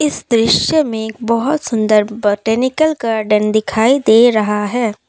इस दृश्य में एक बहुत सुंदर बोटैनिकल गार्डन दिखाई दे रहा है।